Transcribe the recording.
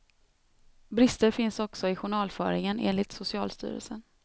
Brister finns också i journalföringen enligt socialstyrelsen.